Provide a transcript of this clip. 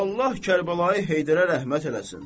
Allah Kərbəlayı Heydərə rəhmət eləsin.